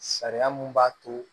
Sariya mun b'a to